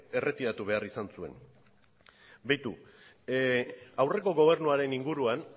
erretiratu behar izan zuen beitu aurreko gobernuaren inguruan